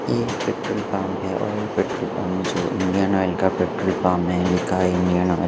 ये एक petrol pump है और ऑयल पेट्रोल पंप जो इंडियन ऑयल का पेट्रोल पंप है लिखा है इंडियन ऑयल --